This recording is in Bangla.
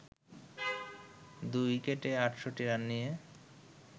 ২ উইকেটে ৬৮ রান নিয়ে